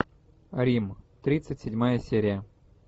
рим тридцать седьмая серия